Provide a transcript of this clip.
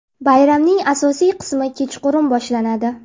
Bayramning asosiy qismi kechqurun boshlanadi.